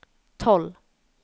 tolv